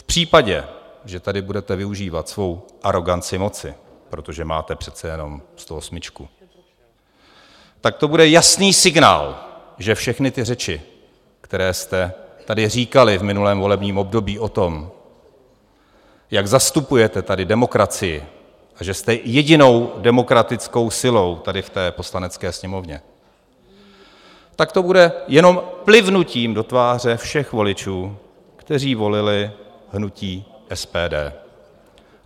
V případě, že tady budete využívat svou aroganci moci, protože máte přece jenom 108, tak to bude jasný signál, že všechny ty řeči, které jste tady říkali v minulém volebním období o tom, jak zastupujete tady demokracii a že jste jedinou demokratickou silou tady v té Poslanecké sněmovně, tak to bude jenom plivnutím do tváře všech voličů, kteří volili hnutí SPD.